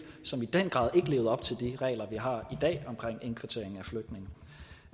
som i den grad ikke levede op til de regler vi har i dag omkring indkvartering